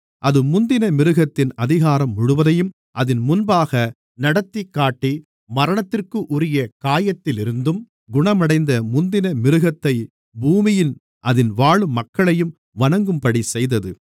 அது முந்தின மிருகத்தின் அதிகாரம் முழுவதையும் அதின் முன்பாக நடத்திக்காட்டி மரணத்திற்குரிய காயத்திலிருந்தும் குணமடைந்த முந்தின மிருகத்தைப் பூமியும் அதில் வாழும் மக்களையும் வணங்கும்படிச் செய்தது